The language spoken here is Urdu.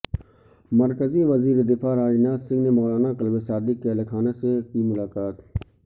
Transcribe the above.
مرکزی وزیر دفاع راجناتھ سنگھ نے مولانا کلب صادق کے اہل خانہ سے کی ملاقات